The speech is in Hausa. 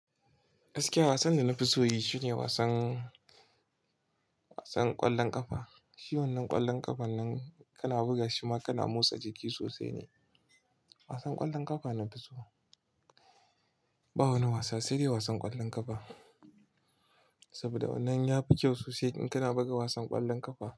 Gaskiya wasan da na fi so yi shine wasan, wasan ƙwallon ƙafa. Shi wan nan ƙwallon ƙafan nan, kana buga shi ma kana motsa jiki sosai ne. Wasan ƙwallon ƙafa na fi so. Ba wani wasa sai dai wasan ƙwallon ƙafa. Saboda wannan ya fi kyau sosai in kana buga wasan ƙwallon ƙafa.